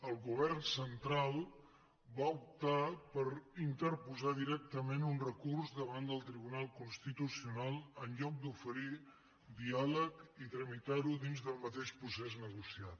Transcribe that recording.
el govern central va optar per interposar directament un recurs davant del tribunal constitucional en lloc d’oferir diàleg i tramitar ho dins del mateix procés negociat